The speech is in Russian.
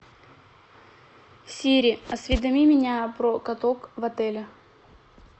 сири осведоми меня про каток в отеле